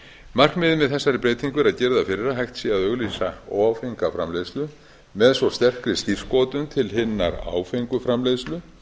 markmiðið með þessari breytingu er að girða fyrir að hægt sé að auglýsa óáfenga framleiðslu með svo sterkri skírskotun til hinnar áfengu framleiðslu